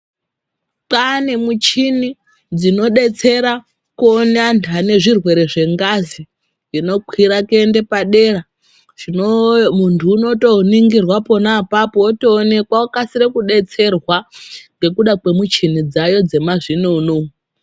Kwaane nemuchini dzinodetsera kuona andu ane ngezvirwere zvengazi inokwira kuenda padera. Zvino mundu unotoningirwa pona apapo otoonekwa okasira kudetsererwa ngekuda kwemuchini dzaayo dzemazvinono.